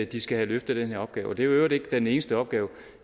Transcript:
de skal have løftet den her opgave og det øvrigt ikke den eneste opgave